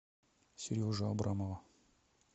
сережу абрамова